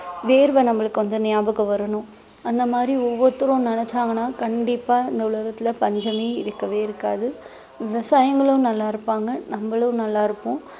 வேர்வை நம்மளுக்கு வந்து ஞாபகம் வரணும் அந்த மாதிரி ஒவ்வொருத்தரும் நினைச்சாங்கன்னா கண்டிப்பா இந்த உலகத்திலே பஞ்சமே இருக்கவே இருக்காது விவசாயிங்களும் நல்லா இருப்பாங்க நம்மளும் நல்லா இருப்போம்